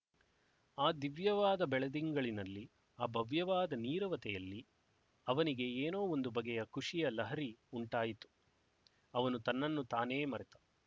ಆ ದಿವ್ಯವಾದ ಬೆಳದಿಂಗಳಿನಲ್ಲಿ ಆ ಭವ್ಯವಾದ ನೀರವತೆಯಲ್ಲಿ ಅವನಿಗೆ ಏನೋ ಒಂದು ಬಗೆಯ ಖುಷಿಯ ಲಹರಿ ಉಂಟಾಯಿತು ಅವನು ತನ್ನನ್ನು ತಾನೆ ಮರೆತ